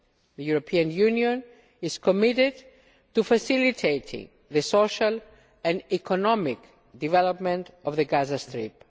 The European Union is committed to facilitating the social and economic development of the Gaza Strip.